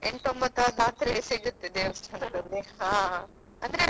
ಎಂಟು ಒಂಬತ್ತು ಜಾತ್ರೆ ಸಿಗತ್ತೆ ದೇವಸ್ಥಾನದ್ದು ಅಲ್ಲಿ.